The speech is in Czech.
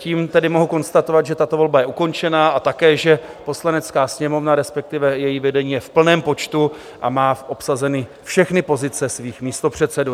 Tím tedy mohu konstatovat, že tato volba je ukončena, a také, že Poslanecká sněmovna, respektive její vedení, je v plném počtu a má obsazeny všechny pozice svých místopředsedů.